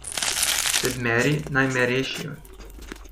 Sedmeri naj me rešijo.